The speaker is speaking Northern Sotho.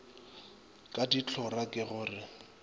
ka dihlora ke go re